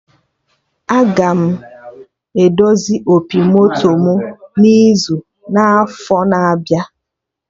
Aga m edozi opi moto mụ n'izu n'afọ na-abịa